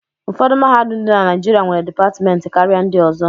Ụfọdụ mahadum dị na Naịjịrịs nwere dipatịmentị karịa ndị ọzọ.